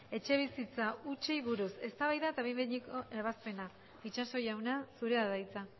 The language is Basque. etxebizitza hutsei buruz eztabaida eta behin betiko ebazpena itxaso jauna zurea da hitza